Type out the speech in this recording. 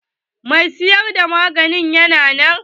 Mai siyar da magani yana nan?